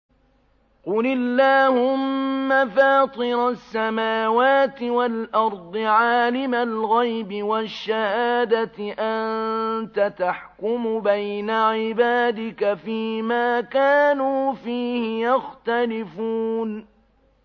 قُلِ اللَّهُمَّ فَاطِرَ السَّمَاوَاتِ وَالْأَرْضِ عَالِمَ الْغَيْبِ وَالشَّهَادَةِ أَنتَ تَحْكُمُ بَيْنَ عِبَادِكَ فِي مَا كَانُوا فِيهِ يَخْتَلِفُونَ